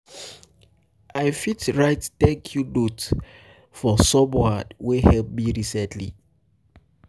i fit write um thank you note you note for someone wey help me recently.